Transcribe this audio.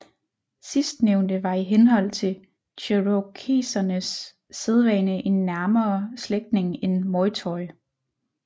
Sidstnævnte var i henhold til cherokesernes sædvane en nærmere slægtning end Moytoy